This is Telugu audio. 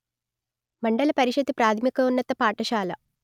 మండల పరిషత్తు ప్రాధమికోన్నత పాఠశాల